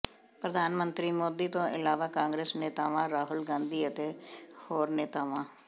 ਪ੍ਰਧਾਨ ਮੰਤਰੀ ਮੋਦੀ ਤੋਂ ਇਲਾਵਾ ਕਾਂਗਰਸ ਨੇਤਾਵਾਂ ਰਾਹੁਲ ਗਾਂਧੀ ਅਤੇ ਹੋਰ ਨੇਤਾਵਾਂ